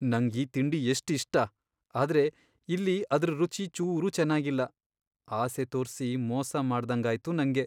ನಂಗ್ ಈ ತಿಂಡಿ ಎಷ್ಟ್ ಇಷ್ಟ.. ಆದ್ರೆ ಇಲ್ಲಿ ಅದ್ರ್ ರುಚಿ ಚೂರೂ ಚೆನಾಗಿಲ್ಲ, ಆಸೆ ತೋರ್ಸಿ ಮೋಸ ಮಾಡ್ದಂಗಾಯ್ತು ನಂಗೆ.